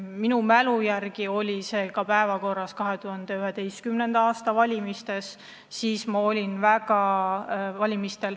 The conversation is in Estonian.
Minu mälu järgi oli see päevakorral ka 2011. aasta valimistel.